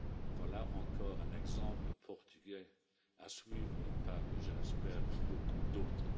Voilà encore un exemple portugais à suivre par je l'espère beaucoup d'autres.